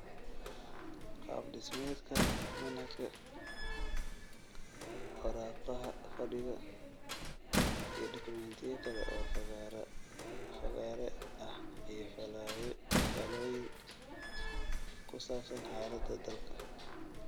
Qaab dhismeedka manhajka; waraaqaha fadhiga; iyo dokumentiyo kale oo fagaare ah iyo faallooyin ku saabsan xaaladda dalka.